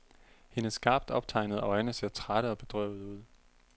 Hendes skarpt optegnede øjne ser trætte og bedrøvede ud.